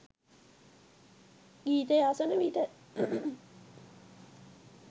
ගීතය අසන විට